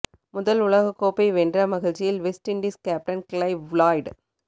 முதல் உலக கோப்பை வென்ற மகிழ்ச்சியில் West Indies captain Clive Lloyd